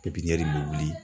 in bɛ wuli.